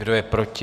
Kdo je proti?